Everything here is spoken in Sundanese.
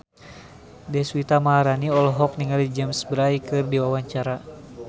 Deswita Maharani olohok ningali James Bay keur diwawancara